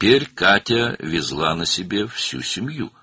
İndi Katya bütün ailəni öz üzərində daşıyırdı.